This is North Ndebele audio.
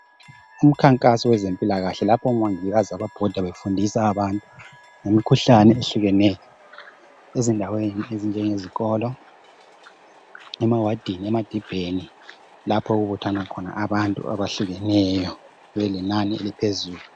umkhankaso wezempilakahle lapho omongikazi ababhoda befundisa abantu ngemikhuhlane ehlukeneyo ezindaweni ezinjengezikolo emawadini emadibheni lapha okuthana khona abantu abahlukeneyo belenani eliphezulu